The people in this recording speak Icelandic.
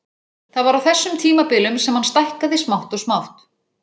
Það var á þessum tímabilum sem hann stækkaði smátt og smátt.